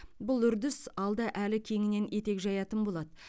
бұл үрдіс алда әлі кеңінен етек жаятын болады